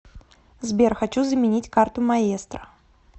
сбер хочу заменить карту маестро